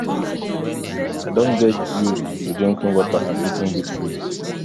i don get used to drinking water and eating good food